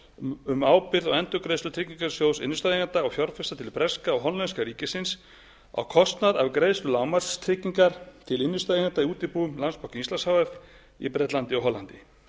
um ábyrgð á endurgreiðslu tryggingarsjóðs innstæðueigenda og fjárfesta til breska og hollenska ríkisins á kostnaði af greiðslu lágmarkstryggingar til innstæðueigenda í útibúum landsbanka íslands h f í bretlandi og hollandi